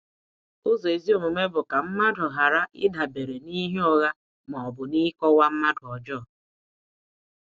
Ụzọ ezi omume bụ ka mmadụ ghara ịdabere n’ihe ụgha ma ọ bụ n’ịkọwa mmadụ ọjọọ.